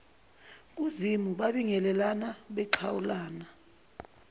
kuzimu babingelelana baxhawulana